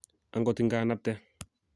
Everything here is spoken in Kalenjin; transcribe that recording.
angot iganapte